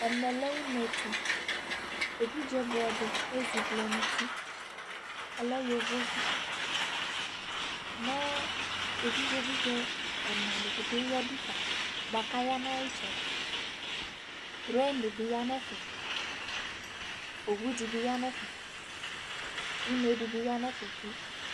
Ɛmɛlɛ unetu evidze bʋɛdi ezivlɛ nʋ uti ɔlɛ yovovi mɛ evidze evidze ɛna ni dibi yadufa bʋka ayanʋ ayʋ itsɛdi tren dibi yanʋ ɛfɛ owʋ dibi yanʋ ɛfɛ une di bi yanʋ ɛfe ke